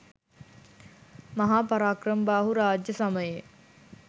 මහා පරාක්‍රමබාහු රාජ්‍ය සමයේ